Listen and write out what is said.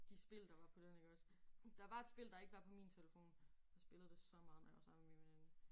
De spil der var på den iggås. Der var et spil der ikke var på min telefon. Jeg spillede det så meget når jeg var sammen med min veninde